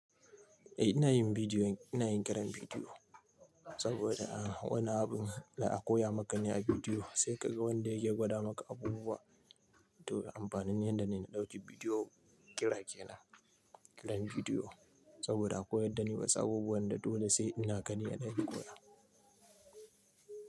Eh ina yin bidiyo, ina yin kiran bidiyo saboda a wani abun za akoya ma ka ne a bidiyo sai ka ga wanda yake gwada maka abubuwa. To amfanin yan da na ɗauki bidiyo kira kenan. Kiran bidiyo saboda akoya da ni wasu abubuwan da dole sai in gani a ɗani koya.